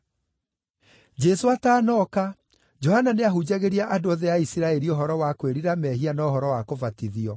Jesũ atanooka, Johana nĩahunjagĩria andũ othe a Isiraeli ũhoro wa kwĩrira mehia na ũhoro wa kũbatithio.